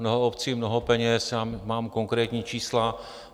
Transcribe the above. Mnoho obcí, mnoho peněz, já mám konkrétní čísla.